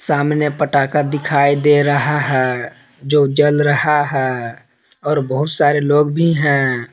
सामने पटाका दिखाई दे रहा है जो जल रहा है और बहुत सारे लोग भी है।